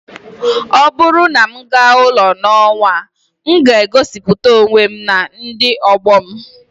ọ bụrụ na m gaa ụlọ n'ọnwa a, m ga-egosiputa onwe m na ndị ọgbọ m